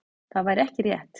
Það væri ekki rétt.